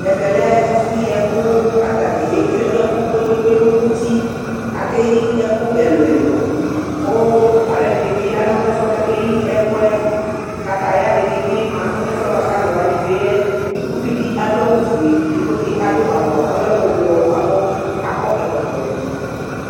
Ɛvɛlɛ ɛfu yiɛkʋ, katani etsue ɛkʋ kpekpekpe nʋtiAkeyi ɛkʋ ɛluɛluKʋ aluɛdinibi yanʋ ɛfuɛ kakeyi'ɛkʋɛKataya dini bi manʋ ɛfuɛ buakʋ aluwani tsoe yɛUvidi adʋ awufueEdigbo di adʋ awu di buakʋ ɔlɛ ublɔ, buakʋ akɔ ɛkɔtɔ yadu